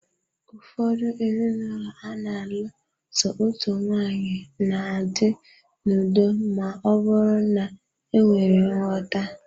Ụfọdụ ezinụlọ ana alụ so otu nwaanyị, na-adị n'udo ma ọ bụrụ na enwere nghọta.